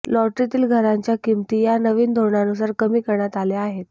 लॉटरीतील घरांच्या किंमती या नवीन धोरणानुसार कमी करण्यात आल्या आहेत